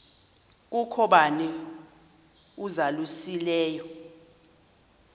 kukho bani uzalusileyo